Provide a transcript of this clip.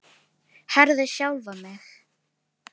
Herði sjálfa mig.